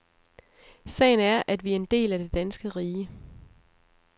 Sagen er, at vi er en del af det danske rige.